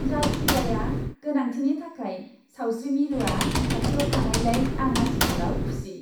जायखिजाया गोनांथिनि थाखाय सावस्रि मिरुआ खाथियाव थानायलाय आं आथिखालाव खुसि।